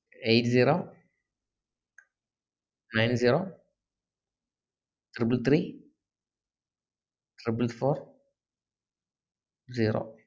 eight zero nine zero triple three triple four zero